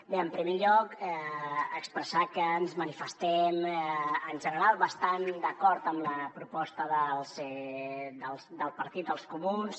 bé en primer lloc expressar que ens manifestem en general bastant d’acord amb la proposta del partit dels comuns